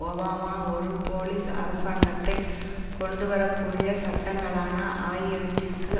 Obama ஒரு police அரசாங்கத்தை கொண்டு வர கூடிய சட்டங்களான ஆகியவற்றிற்கு